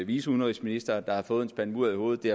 viceudenrigsminister der har fået en spand mudder i hovedet det